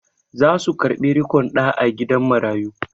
Za su karɓi riƙon ɗa a gidan marayu.